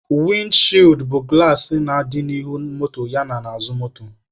Windi chịịd bụ gụlas na-adị n'ihu moto ya n'azụ moto.